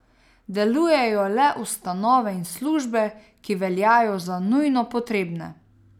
Delujejo le ustanove in službe, ki veljajo za nujno potrebne.